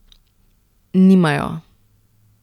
Nimajo!